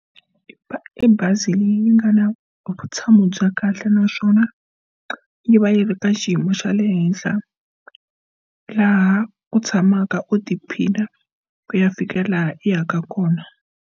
I bazi leyi nga na vutshamo bya kahle naswona yi va yi ri ka xiyimo xa le henhla laha ku tshamaka u tiphina ku ya fika laha yi yaka kona.